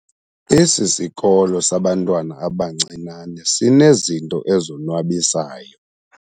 Esi sikolo sabantwana abancinane sinezinto ezonwabisayo.